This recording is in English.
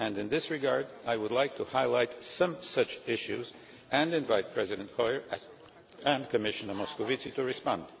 In this regard, I would like to highlight some such issues and invite President Hoyer and Commissioner Moscovici to respond.